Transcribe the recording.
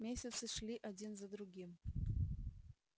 месяцы шли один за другим